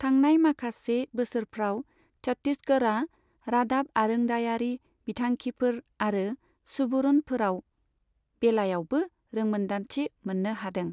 थांनाय माखासे बोसोरफ्राव, छत्तीसगड़ा रादाब आरोंदायारि बिथांखिफोर आरो सुबुरुनफोराव बेलायावबो रोंमोनदांथि मोननो हादों।